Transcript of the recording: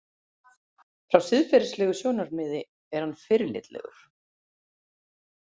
Frá siðferðislegu sjónarmiði er hann fyrirlitlegur.